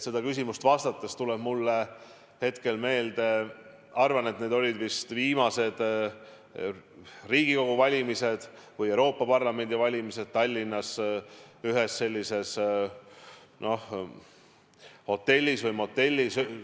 Sellele küsimusele vastates tulevad mulle meelde, arvan, vist viimased Riigikogu valimised või Euroopa Parlamendi valimised Tallinnas ühes hotellis või motellis.